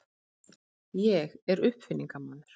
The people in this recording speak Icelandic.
Ég er uppfinningamaður.